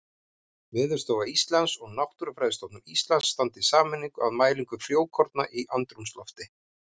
Veðurstofa Íslands og Náttúrufræðistofnun Íslands standa í sameiningu að mælingu frjókorna í andrúmslofti.